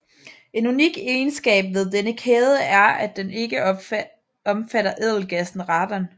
En unik egenskab ved denne kæde er at den ikke omfatter ædelgassen radon